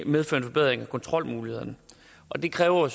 medføre en forbedring af kontrolmulighederne og det kræver